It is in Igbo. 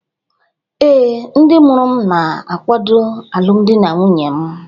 Ee, ndị mụrụ m na-akwado alụmdi na nwunye m